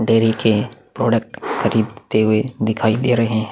Dairy के product खरीदते हुए दिखाई दे रहै है।